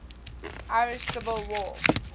irish civil war